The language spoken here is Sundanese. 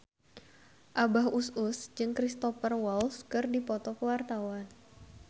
Abah Us Us jeung Cristhoper Waltz keur dipoto ku wartawan